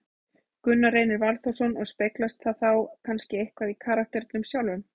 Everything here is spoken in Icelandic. Gunnar Reynir Valþórsson: Og speglast það þá kannski eitthvað í karakternum sjálfum?